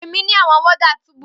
Pe mi ni awọn warders tubu